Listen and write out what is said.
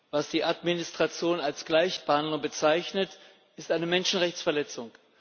Was die Administration als Gleichbehandlung bezeichnet, ist eine Menschenrechtsverletzung.